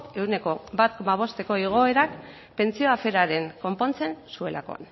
ehuneko bat koma bosteko igoera pentsioen afera konpontzen zuelako